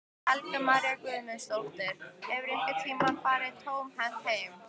Helga María Guðmundsdóttir: Hefurðu einhvern tímann farið tómhent heim?